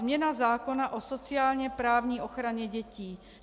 Změna zákona o sociálně-právní ochraně dětí.